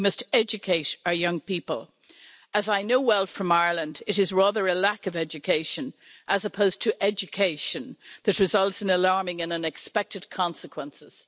We must educate our young people. As I know well from Ireland, it is rather a lack of education, as opposed to education, that results in alarming and unexpected consequences.